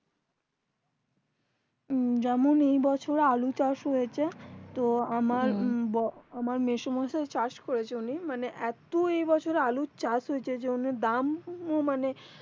উম যেমনি এবছর ও আলু চাষ হয়েছে তো আমার ব আমার মেসোমশাই চাষ করেছে উনি মানে এতো এবছর আলু চাষ হয়েছে যে ওদের দাম মানে